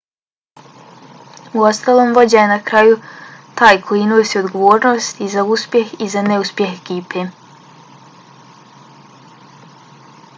uostalom vođa je na kraju taj koji nosi odgovornost i za uspjeh i za neuspjeh ekipe